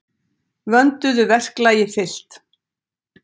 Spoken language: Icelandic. Vönduðu verklagi fylgt.